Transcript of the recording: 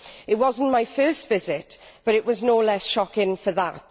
It was not my first visit, but it was no less shocking for that.